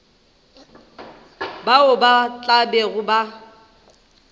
bao ba tla bego ba